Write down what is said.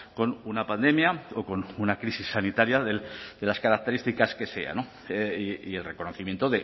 con una pandemia o con una crisis sanitaria de las características que sea no y el reconocimiento